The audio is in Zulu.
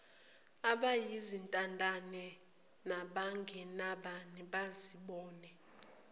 abayizintandane nabangenabani bazibone